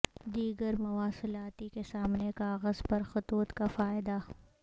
دیگر مواصلاتی کے سامنے کاغذ پر خطوط کا فائدہ